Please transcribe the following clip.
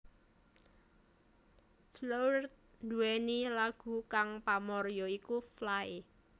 Floored duweni lagu kang pamor ya iku Fly